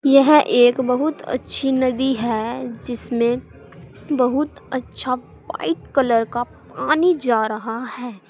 यह एक बहुत अच्छी नदी है जिसमें बहुत अच्छा व्हाइट कलर का पानी जा रहा है।